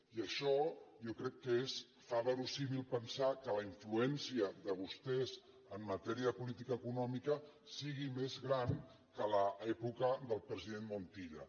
i això jo crec que fa versemblant pensar que la influència de vostès en matèria de política econòmica sigui més gran que a l’època del president montilla